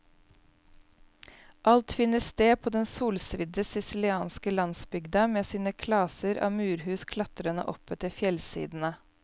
Alt finner sted på den solsvidde sicilianske landsbygda, med sine klaser av murhus klatrende oppetter fjellsidene.